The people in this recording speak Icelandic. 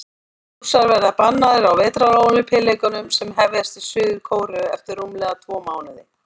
Rússar verða bannaðir á Vetrarólympíuleikunum sem hefjast í Suður-Kóreu eftir rúmlega tvo mánuði.